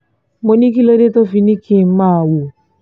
mo ní kí ló dé tó fi ní kí n máa wò